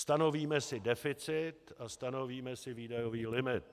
Stanovíme si deficit a stanovíme si výdajový limit.